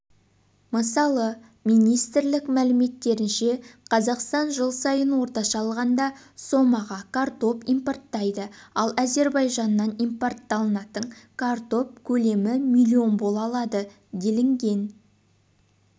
мысалы министрлік мәліметтерінше қазақстан жыл сайын орташа алғанда сомаға картоп импорттайды ал әзербайжаннан импортталатын картоп көлемі миллион бола алады делінген